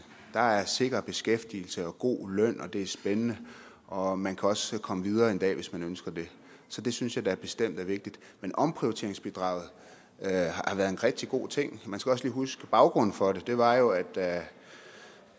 der er sikker beskæftigelse og god løn og det er spændende og man kan også komme videre en dag hvis man ønsker det så det synes jeg da bestemt er vigtigt men omprioriteringsbidraget har været en rigtig god ting man skal også lige huske baggrunden for det der var jo da